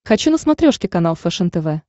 хочу на смотрешке канал фэшен тв